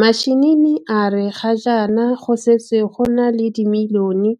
Mashinini a re ga jana go setse go na le dimilioyone